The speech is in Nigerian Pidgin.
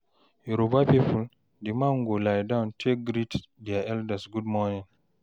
Yoruba pipo, di man go lie down take greet dia elders gud morning